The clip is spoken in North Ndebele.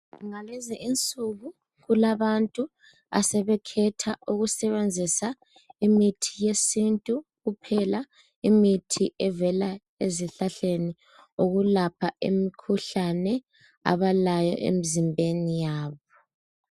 Ngalezi insuku kulabantu asebekhetha ukusebenzisa imithi yesintu kuphela imithi evela ezihlahleni okulapa imkhuhlane abalayo emzimbeni yabo